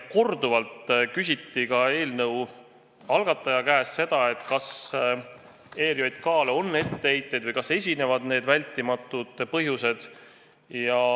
Korduvalt küsiti ka eelnõu algataja käest, kas ERJK-le on etteheiteid või kas esinevad need vältimatud põhjused.